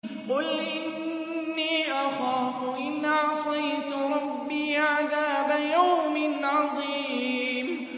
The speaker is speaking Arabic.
قُلْ إِنِّي أَخَافُ إِنْ عَصَيْتُ رَبِّي عَذَابَ يَوْمٍ عَظِيمٍ